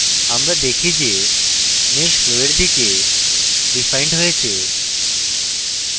আমরা দেখি যে mesh flow we দিকে refined হয়েছে